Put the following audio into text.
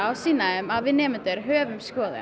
sýna þeim að við höfum skoðun